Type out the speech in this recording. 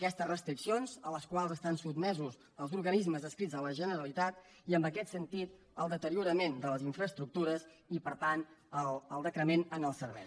aquestes restriccions a les quals estan sotmesos els organismes adscrits a la generalitat i en aquest sentit el deteriorament de les infraestructures i per tant el decrement en el servei